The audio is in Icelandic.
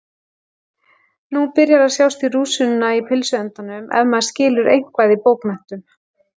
Nú byrjar að sjást í rúsínuna í pylsuendanum ef maður skilur eitthvað í bókmenntum.